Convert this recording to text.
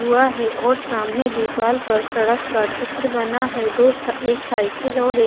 हुआ है और सामने दीवार पर सड़क का चित्र बना है दो एक साइकिल और एक--